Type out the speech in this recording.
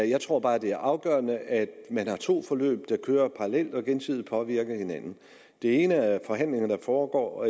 jeg tror bare at det er afgørende at man har to forløb der kører parallelt og gensidigt påvirker hinanden det ene forløb er forhandlinger der foregår